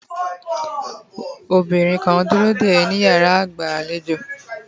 obinrin kan duro de éé ni iyara igba alejo